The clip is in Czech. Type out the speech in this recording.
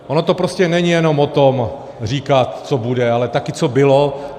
Ono to prostě není jenom o tom, říkat co bude, ale také co bylo.